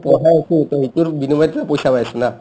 সিটোৰ বিনিময়তে পইচা পাই আছো না